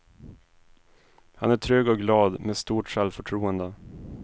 Han är trygg och glad, med stort självförtroende.